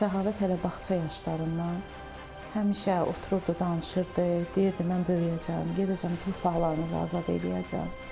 Səxavət hələ bağça yaşlarından həmişə otururdu, danışırdı, deyirdi mən böyüyəcəm, gedəcəm torpaqlarımızı azad eləyəcəm.